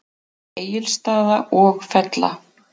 Egilsstaða og Fella.